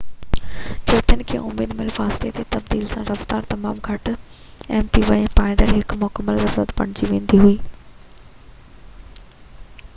چوٿين کان اڌ ميل فاصلي تي تبديلي سان رفتار تمام گهٽ اهم ٿي وئي ۽ پائيداري هڪ مڪمل ضرورت بڻجي ويندي آهي